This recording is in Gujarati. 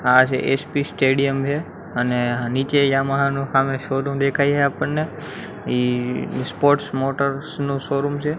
આ જે એસ_પી સ્ટેડિયમ છે અને નીચે યામાહા નુ હામે શોરુમ દેખાઈ છે આપણને ઇ સ્પોર્ટ્સ મોટર્સ નુ શોરુમ છે.